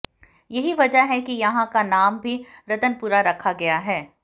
यही वजह है कि यहां का नाम भी रत्नपुरा रखा गया है